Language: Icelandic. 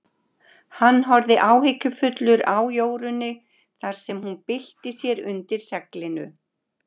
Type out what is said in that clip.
Hann horfði áhyggjufullur á Jórunni þar sem hún bylti sér undir seglinu.